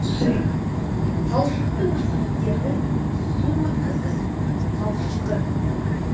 сүрек талшықты өсімдіктердің су өткізгіш талшығы